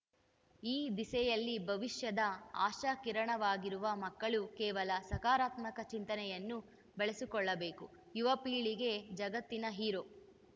ಈ ದಿಸೆಯಲ್ಲಿ ಭವಿಷ್ಯದ ಆಶಾಕಿರಣವಾಗಿರುವ ಮಕ್ಕಳು ಕೇವಲ ಸಕಾರಾತ್ಮಕ ಚಿಂತನೆಯನ್ನು ಬೆಳೆಸಿಕೊಳ್ಳಬೇಕು ಯುವಪೀಳಿಗೆ ಜಗತ್ತಿನ ಹೀರೋ